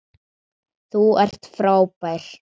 Þú ert frábær!